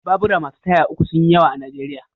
Babura masu taya uku sun yi yawa a Najeriya.